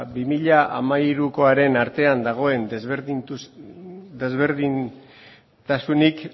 bi mila hamairukoaren artean dagoen desberdintasunik